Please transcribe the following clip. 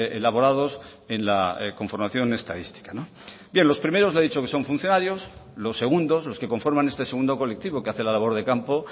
elaborados en la conformación estadística bien los primeros le he dicho que son funcionarios los segundos los que conforman este segundo colectivo que hace la labor de campo